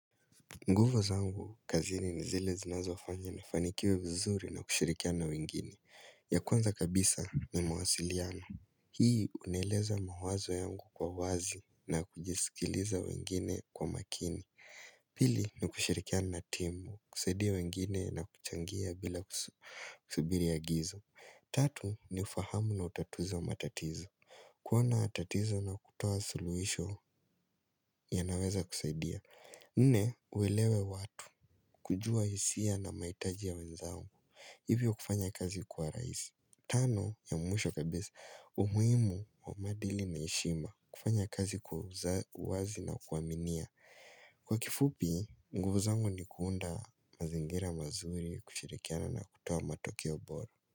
Nguvu zangu, kazini ni zile zinazo wafanya ni fanikiwe vizuri na kushirikia na wengine. Ya kwanza kabisa ni mawasiliano. Hii unaeleza mawazo yangu kwa wazi na kujisikiliza wengine kwa makini. Pili ni kushirikia na timu, kusaidia wengine na kuchangia bila kusibiri ya agizo. Tatu ni ufahamu na utatuzo wa matatizo. Kuona tatizo na kutoa suluhisho ya naweza kusaidia. Nne, uelewe watu, kujua hisia na mahitaji ya wenzao Hivyo kufanya kazi kuwa rahisi Tano, ya mwisho kabisa, umuhimu wa maadili na heshima kufanya kazi kwa uwazi na kuwaminia Kwa kifupi, nguvu zangu ni kuunda mazingira mazuri kushirikiana na kutua matokeo bora.